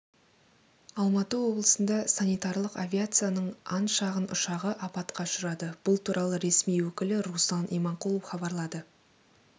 алматы облысында санитарлық авиацияның ан шағын ұшағы апатқа ұшырады бұл туралы ресми өкілі руслан иманқұлов хабарлады